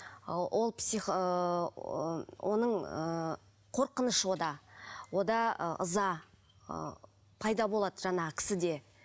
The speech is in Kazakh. ол ыыы оның ыыы қорқыныш онда онда ы ыза ыыы пайда болады жаңағы кісіде